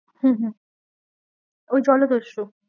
হম হম ওই জলদস্যু